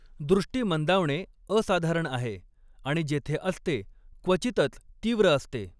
दृष्टी मंदावणे असाधारण आहे आणि जेथे असते, क्वचितच तीव्र असते.